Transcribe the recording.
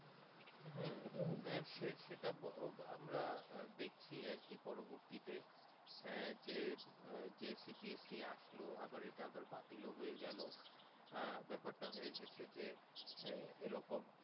হম আহ সেটা আমরা দেখছি আর কি পরবর্তীতে হ্যাঁ যে UPSC আসলো আবার বাতিল ও হয়ে গেলো আহ বেপার তা হয়ে গিয়েছে যে আহ এরকম